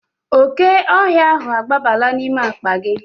Oke ohia ahu agbabala n'ime akpa gi